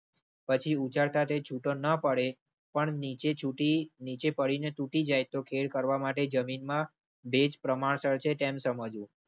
પછી ઉચાથી છૂટો ન પડે, પણ નીચે છોટી નીચે પડીને તૂટી જાય તો ખેડ કરવા માટે જમીનમાં ભેજ પ્રમાણસર છે તેમ સમજવું.